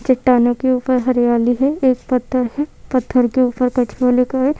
चट्टानों के ऊपर हरियाली है एक पत्थर है पत्थर के ऊपर कछुआ लिखा है।